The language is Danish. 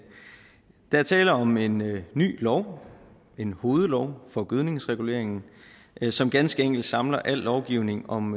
der er tale om en ny lov en hovedlov for gødningsreguleringen som ganske enkelt samler al lovgivning om